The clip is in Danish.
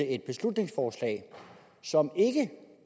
et beslutningsforslag som ikke